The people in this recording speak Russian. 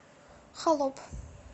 холоп